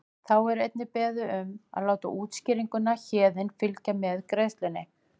Þá er einnig beðið um að láta útskýringuna Héðinn fylgja með greiðslunni.